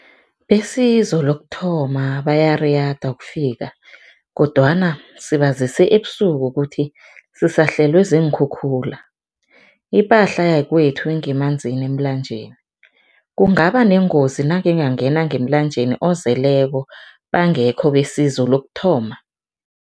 Besizo lokuthoma bayariyada kodwana sibazise ebusuku ukuthi sihlaselwe ziinkhukhula, ipahla yakwethu ingemanzini emlanjeni. Kungaba nengozi nangingangena ngemlanjeni ozeleko bangekho besizo lokuthoma?